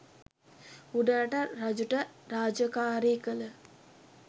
උඩරට රජුට රාජකාරී කල